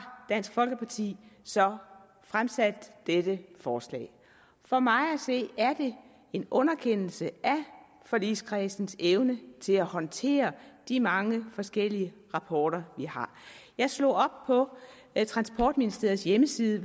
dansk folkeparti så fremsat dette forslag for mig at se er det en underkendelse af forligskredsens evne til at håndtere de mange forskellige rapporter vi har jeg slog op på transportministeriets hjemmeside